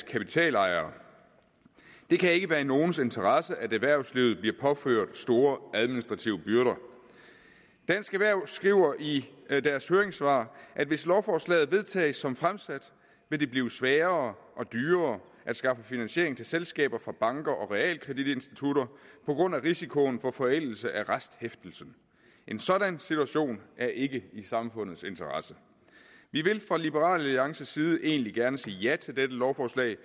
kapitalejere det kan ikke være i nogens interesse at erhvervslivet bliver påført store administrative byrder dansk erhverv skriver i deres høringssvar at hvis lovforslaget vedtages som fremsat vil det blive sværere og dyrere at skaffe finansiering til selskaber fra banker og realkreditinstitutter på grund af risikoen for forældelse af resthæftelsen en sådan situation er ikke i samfundets interesse vi vil fra liberal alliances side egentlig gerne sige ja til dette lovforslag